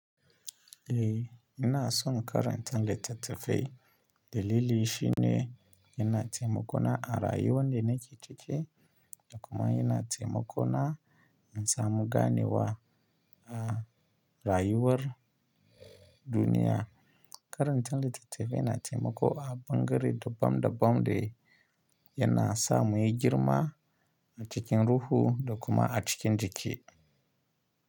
Eh, ina son karanta littattafai dalili shine yana taimako na a rayuwar da na ciki da kuma yana taimako na in samu ganewa a rayuwar duniya. Karanta littattafai yana taimako a ɓangare daban-daban da yana sa mu yi girma a cikin ruhu da kuma a cikin jiki.